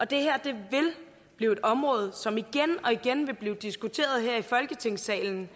det her vil blive et område som igen og igen vil blive diskuteret her i folketingssalen